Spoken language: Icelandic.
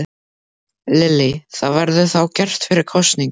Lillý: Það verður þá gert fyrir kosningar?